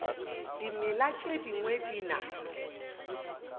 dimela tše dingwe di na